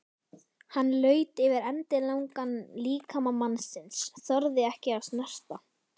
Hann laut yfir endilangan líkama mannsins, þorði ekki að snerta.